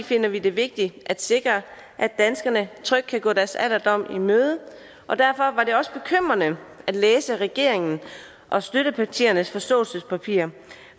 finder vi det vigtigt at sikre at danskerne trygt kan gå deres alderdom i møde og derfor var det også bekymrende at læse regeringen og støttepartiernes forståelsespapir